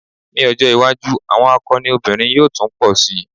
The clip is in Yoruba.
Ní ọjọ́́ iwájú àwọn akọni obìnrin yóò tún pọ̀ si.